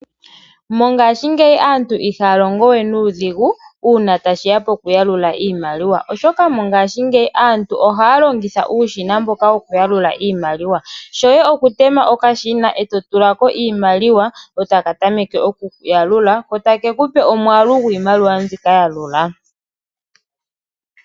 Mongashingeyi aantu ihaya longo we nuudhigu uuna tashiya pokuyalula iimaliwa oshoka mongashingeyi aantu ohaya longitha uushina mboka wokuyalula iimaliwa, shoye okutema okashina e totulako iimaliwa ko takatameke okuyalula ko takekupe omwaalu gwiimaliwa mbi kayalula.